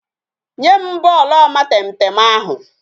Nye m bọọlụ omatemtem ahụ